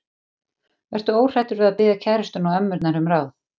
Vertu óhræddur við að biðja kærustuna og ömmurnar um ráð.